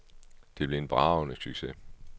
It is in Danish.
Det blev en bragende succes.